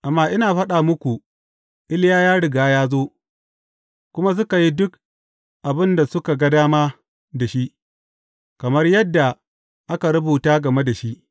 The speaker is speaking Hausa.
Amma ina faɗa muku, Iliya ya riga ya zo, kuma suka yi duk abin da suka ga dama da shi, kamar yadda aka rubuta game da shi.